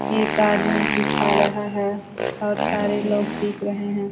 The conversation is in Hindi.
एक आदमी सिखा रहा है और सारे लोग सीख रहे हैं।